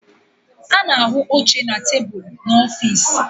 A na-ahụ oche na tebụlu n'ọfịs